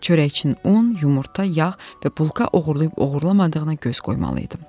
Çörəkçinin un, yumurta, yağ və bulka oğurlayıb-oğurlamadığına göz qoymalıydım.